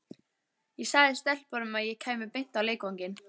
Ég sagði stelpunum að ég kæmi beint á leikvanginn.